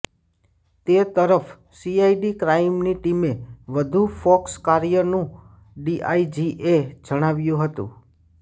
તે તરફ સીઆઇડી ક્રાઇમની ટીમે વધુ ફોકસ કર્યાનું ડીઆઈજીએ જણાવ્યું હતું